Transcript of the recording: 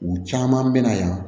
U caman bɛ na yan